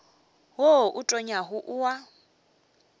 wo o tonyago o a